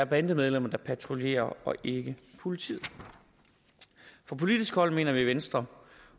bandemedlemmer der patruljerer og ikke politiet fra politisk hold mener vi i venstre